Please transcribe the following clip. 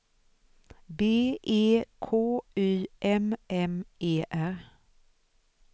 B E K Y M M E R